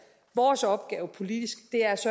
vores opgave politisk